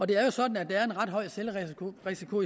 det er jo sådan at der er en ret høj selvrisiko